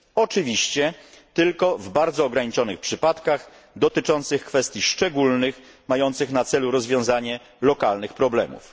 Oczywiście tylko w bardzo ograniczonych przypadkach, dotyczących kwestii szczególnych, mających na celu rozwiązanie lokalnych problemów.